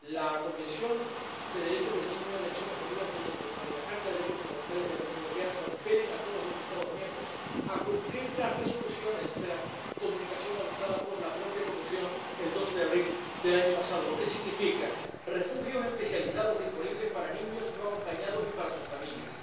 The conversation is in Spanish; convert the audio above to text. La Convención sobre los Derechos del Niño de las Naciones Unidas de 1989 y la Carta de los Derechos Fundamentales de la Unión Europea compelen a todos los Estados miembros a cumplir las resoluciones de la Comunicación adoptada por la propia Comisión el 12 de abril del año pasado, lo que significa refugios especializados disponibles para niños no acompañados y para sus familias,